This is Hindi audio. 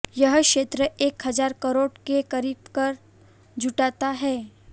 यह क्षेत्र एक हजार करोड़ के करीब कर जुटाता है